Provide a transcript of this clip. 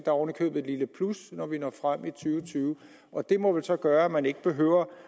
er oven i købet et lille plus når vi når frem til og tyve og det må vel så gøre at man ikke behøver